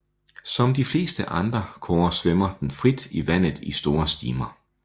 Som de fleste andre kårer svømmer den frit i vandet i store stimer